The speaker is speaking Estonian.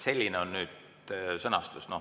Selline on nüüd sõnastus.